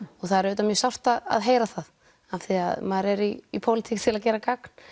það er auðvitað mjög sárt að heyra það af því að maður er í pólitík til að gera gagn